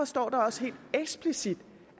står der også helt eksplicit